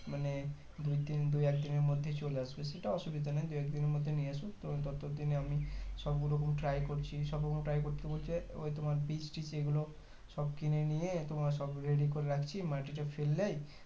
মানে দুই তিন দুএকদিনের মধ্যে চলে আসবে সেটা অসুবিধা নেই দুদিনের মধ্যে নিয়ে আসুক তো ততদিনে আমি সব গুলো রকম try সবরকম try করছি বলতে ওই তোমার বীজ টিজ এগুলো সব কিনে নিয়ে তোমার সব ready করে রাখছি মাটিটা ফেললেই